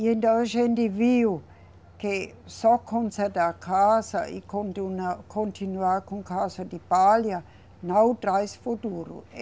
E então a gente viu que só consertar casa e continuar com casa de palha não traz futuro.